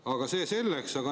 Aga see selleks.